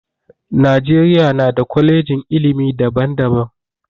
Najeriya na da kwalejin ilimi daban daban